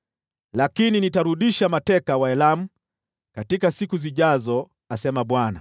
“Lakini nitarudisha mateka wa Elamu katika siku zijazo,” asema Bwana .